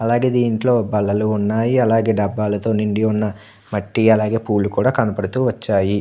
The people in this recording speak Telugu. అలాగే ఇందులో బల్లలు వున్నాయి. అలాగే డబ్బాలో నిండి వున్నా మట్టి అలాగే పూవులు కూడా కనబడుతూ వచ్చాయి.